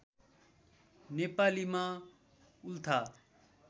नेपालीमा उल्था